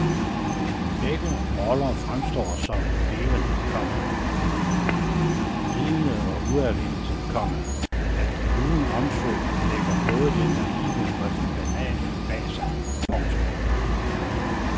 Begge roller fremstår så levende, komma vidende og udadvendte, komma at de uden omsvøb lægger både det naive og det banale bag sig. punktum